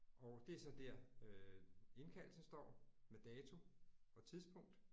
Og det er så der øh indkaldelsen står med dato og tidspunkt